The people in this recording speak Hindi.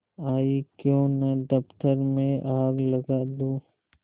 आयीक्यों न दफ्तर में आग लगा दूँ